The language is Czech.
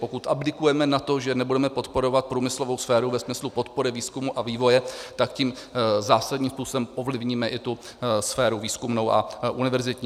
Pokud abdikujeme na to, že nebudeme podporovat průmyslovou sféru ve smyslu podpory výzkumu a vývoje, tak tím zásadním způsobem ovlivníme i tu sféru výzkumnou a univerzitní.